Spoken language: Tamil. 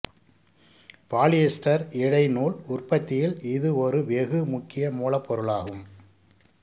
பாலியஸ்டர் இழை நூல் உற்பத்தியில் இது ஒரு வெகு முக்கிய மூலப்பொருளாகும்